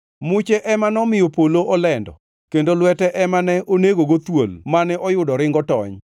Muche ema nomiyo polo olendo; kendo lwete ema ne onegogo thuol mane oyudo ringo tony.